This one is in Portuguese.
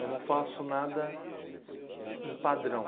Eu não faço nada em padrão.